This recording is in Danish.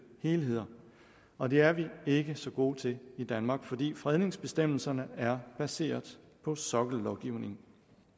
helheder og det er vi ikke så gode til i danmark fordi fredningsbestemmelserne er baseret på sokkellovgivning